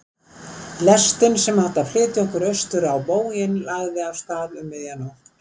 Lestin sem átti að flytja okkur austur á bóginn lagði af stað um miðja nótt.